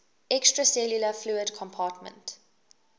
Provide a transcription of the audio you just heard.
extracellular fluid compartment